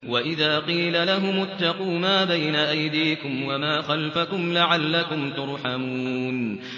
وَإِذَا قِيلَ لَهُمُ اتَّقُوا مَا بَيْنَ أَيْدِيكُمْ وَمَا خَلْفَكُمْ لَعَلَّكُمْ تُرْحَمُونَ